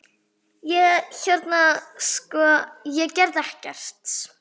Ég- hérna sko- ég gerði ekkert.